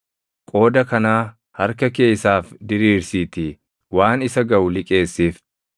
Qooda kanaa harka kee isaaf diriirsiitii waan isa gaʼu liqeessiif.